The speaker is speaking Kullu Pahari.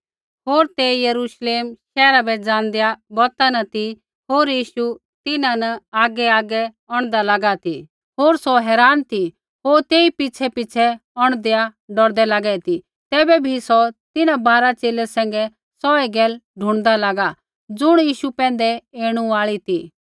होर ते यरूश्लेम शैहरा बै ज़ाँदेआ बौता न ती होर यीशु तिन्हां न आगैआगै औंढदा लागा ती होर सौ हैरान ती होर तेई पिछ़ैपिछ़ै औंढदैआ डौरदै लागे ती तैबै भी सौ तिन्हां बारा च़ेले सैंघै सौहै गैला ढूणदा लागा ज़ुण यीशु पैंधै ऐणु आई ती